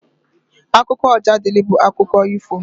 Akụkọ Ojadịlị bụ akụkọ ifo.